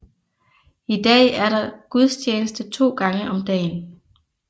I dag er der gudstjeneste 2 gange om dagen